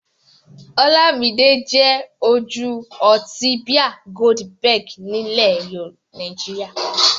Ọlámidé jẹ́ ojú ọtí bíà Goldberg nílẹ̀ Nàìjíríà.